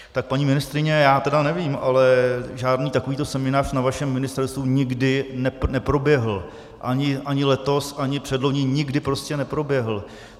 Tak paní ministryně, já tedy nevím, ale žádný takovýto seminář na vašem ministerstvu nikdy neproběhl, ani letos, ani předloni, nikdy prostě neproběhl.